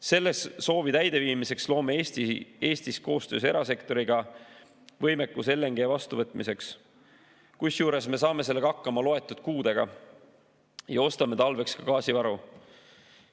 Selle soovi täideviimiseks loome Eestis koostöös erasektoriga võimekuse LNG vastuvõtmiseks, kusjuures me saame sellega hakkama loetud kuudega ja ostame talveks gaasivaru.